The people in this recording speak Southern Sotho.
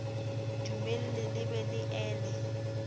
dumelle le be le ele